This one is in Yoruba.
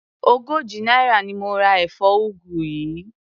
Ogójì náírà ni mo ra èfó ugu yìí.